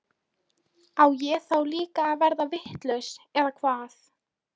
Á ég þá líka að verða vitlaus eða hvað?